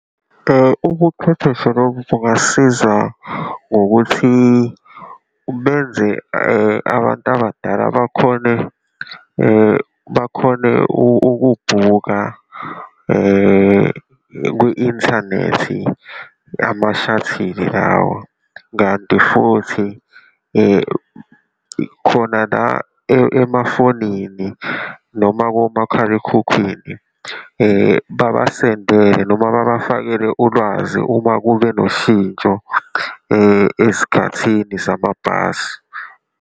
Ubuchwepheshe lobu bungasiza ngokuthi benze abantu abadala bakhone, bakhone ukubhukha kwi-inthanethi, ama-shuttle lawa. Kanti futhi khona la emafonini noma komakhalekhukhwini babasendele, noma babafakele ulwazi uma kube noshintsho ezikhathini samabhasi.